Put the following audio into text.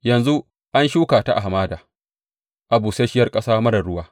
Yanzu an shuka ta a hamada, a busasshiyar ƙasa marar ruwa.